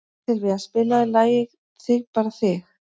Sylvía, spilaðu lagið „Þig bara þig“.